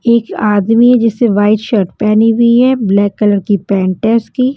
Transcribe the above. एक आदमी है जिससे वाइट शर्ट पहनी हुई है ब्लैक कलर की पेंट है उसकी।